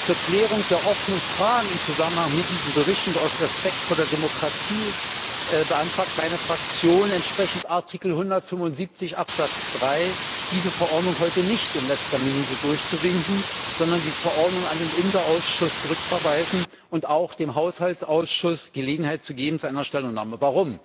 Zur Klärung der offenen Fragen im Zusammenhang mit diesem Bericht und aus Respekt vor der Demokratie beantragt meine Fraktion, entsprechend Artikel 175 Absatz 3 diese Verordnung heute nicht in letzter Minute durchzuwinken, sondern die Verordnung an den INTA Ausschuss zurückzuverweisen und auch dem Haushaltsausschuss Gelegenheit zu einer Stellungnahme zu geben.